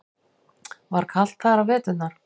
Var kalt þar á veturna?